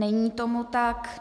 Není tomu tak.